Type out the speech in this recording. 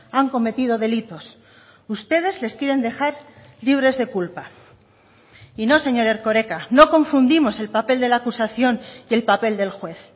han cometido delitos ustedes les quieren dejar libres de culpa y no señor erkoreka no confundimos el papel de la acusación y el papel del juez